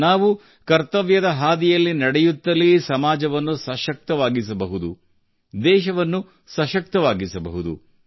ನಾವು ಕರ್ತವ್ಯದ ಹಾದಿಯಲ್ಲಿ ನಡೆಯುತ್ತಲೇ ಸಮಾಜವನ್ನು ಸಶಕ್ತವನ್ನಾಗಿಸಬಹುದು ದೇಶವನ್ನು ಸಶಕ್ತವಾಗಿಸಬಹುದು